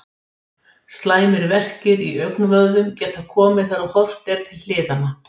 Slæmir verkir í augnvöðvum geta komið þegar horft er til hliðanna.